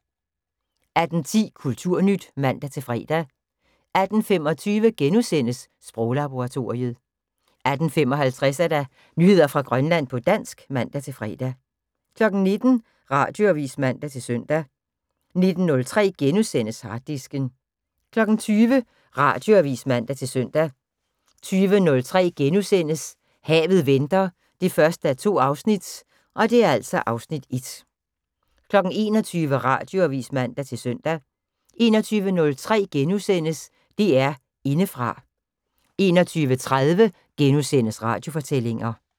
18:10: Kulturnyt (man-fre) 18:25: Sproglaboratoriet * 18:55: Nyheder fra Grønland på dansk (man-fre) 19:00: Radioavis (man-søn) 19:03: Harddisken * 20:00: Radioavis (man-søn) 20:03: Havet venter 1:2 (Afs. 1)* 21:00: Radioavis (man-søn) 21:03: DR Indefra * 21:30: Radiofortællinger *